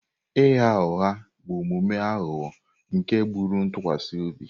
Ịgha ụgha bụ omume aghụghọ nke gburu ntụkwasị obi.